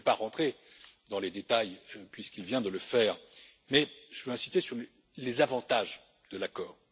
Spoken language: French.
Je ne vais pas entrer dans les détails puisqu'il vient de le faire, mais je veux insister sur les avantages de l'accord.